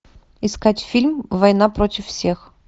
искать фильм война против всех